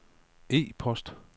e-post